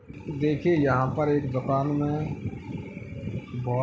देखिये यहाँ पर एक दुकान में बो --